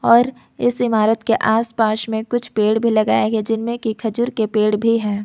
और इस इमारत के आसपास में कुछ पेड़ भी लगाया है जिनमें कि खजूर के पेड़ भी हैं।